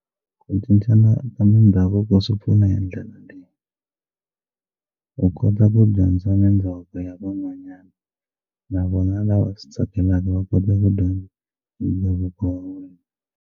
Ku cincana ka mindhavuko swi pfuna hi ndlela leyi u kota ku dyondza na ndhavuko ya van'wanyana na vona lava swi tsakelaka va kota ku dyondza ndhavuko wa wena.